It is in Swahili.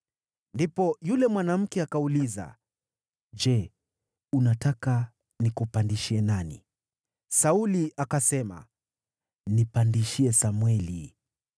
Ndipo yule mwanamke akauliza, “Je unataka nikupandishie nani?” Sauli akasema, “Nipandishie Samweli.”